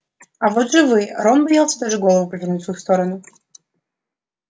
а вот живые а рон боялся даже повернуть голову в их сторону